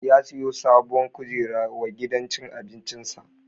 Ya siyo sabon kujera wa gidan cin abincin sa